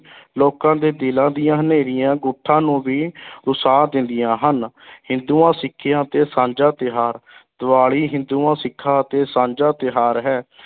ਲੋਕਾਂ ਦੇ ਦਿਲਾਂ ਦੀਆਂ ਹਨੇਰੀਆਂ ਗੁੱਠਾਂ ਨੂੰ ਵੀ ਰੁਸ਼ਾ ਦਿੰਦੀਆਂ ਹਨ ਹਿੰਦੂਆਂ ਸਿੱਖਾਂ ਤੇ ਸਾਂਝਾ ਤਿਉਹਾਰ ਦੀਵਾਲੀ ਹਿੰਦੂਆਂ-ਸਿੱਖਾਂ ਅਤੇ ਸਾਂਝਾ ਤਿਉਹਾਰ ਹੈ।